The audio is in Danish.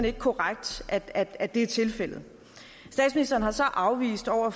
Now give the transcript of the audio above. ikke korrekt at det er tilfældet statsministeren har så afvist over